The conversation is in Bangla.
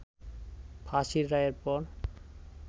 ফাঁসির রায়ের পর